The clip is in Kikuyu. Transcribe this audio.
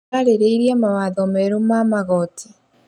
Marĩrĩirie mawatho merũ ma magoti.